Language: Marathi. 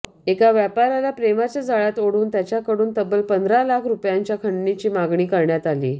एका व्यापाऱ्याला प्रेमाच्या जाळ्यात ओढून त्याच्याकडून तब्बल पंधरा लाख रुपयांच्या खंडणीची मागणी करण्यात आली